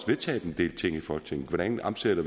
vedtaget en del ting i folketinget hvordan vi omsætter